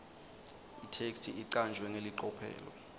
itheksthi icanjwe ngelicophelo